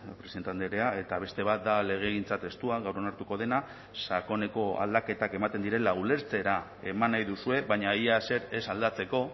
presidente andrea eta beste bat da legegintza testua gaur onartuko dena sakoneko aldaketak ematen direla ulertzera eman nahi duzue baina ia ezer ez aldatzeko